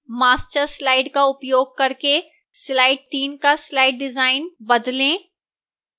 master slides का उपयोग करके slide 3 का slide डिजाइन बदलें